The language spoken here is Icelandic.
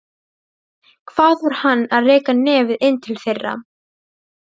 Hvað var hann að reka nefið inn til þeirra?